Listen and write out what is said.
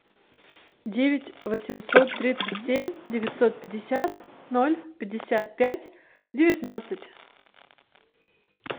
девять восемьсот тридцать семь девятьсот пятьдесят ноль пятьдесят пять девятнадцать